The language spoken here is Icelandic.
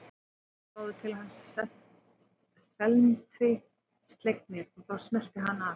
Þeir litu báðir til hans felmtri slegnir og þá smellti hann af.